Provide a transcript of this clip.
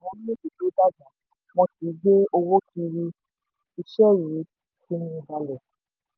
tí a bá wo àwọn orílẹ̀ èdè tó dàgbà wọn kii gbé owó kiri ise yii fini balẹ̀.